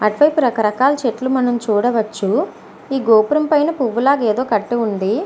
అటు వైపు రకరకాల చెట్లు మనం చూడవచ్చు. ఈ గోపురం పైన పువ్వులాగా ఏదో కట్టు ఉంది.